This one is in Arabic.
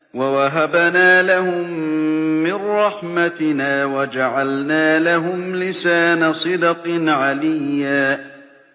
وَوَهَبْنَا لَهُم مِّن رَّحْمَتِنَا وَجَعَلْنَا لَهُمْ لِسَانَ صِدْقٍ عَلِيًّا